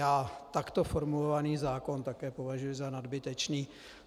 Já takto formulovaný zákon také považuji za nadbytečný.